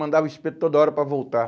Mandava o espeto toda hora para voltar.